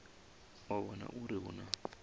u vhona uri hu na